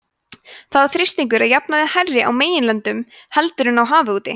þá er þrýstingur að jafnaði hærri á meginlöndum heldur en á hafi úti